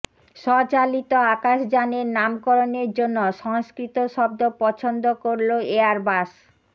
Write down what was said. স্বচালিত আকাশযানের নামকরণের জন্য সংস্কৃত শব্দ পছন্দ করল এয়ারবাস